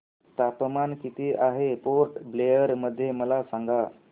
तापमान किती आहे पोर्ट ब्लेअर मध्ये मला सांगा